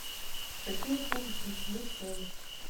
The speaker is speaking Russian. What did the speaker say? какие услуги включены в стоимость